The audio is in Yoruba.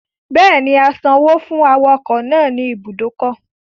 Bẹ́ẹ̀ni, a san owó fún awakọ̀ náà ní ibùdó ọkọ̀